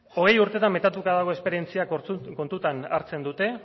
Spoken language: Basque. hogei urtetan metatuta dago esperientziak kontutan hartzen dute